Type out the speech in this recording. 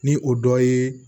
Ni o dɔ ye